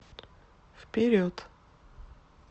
вперед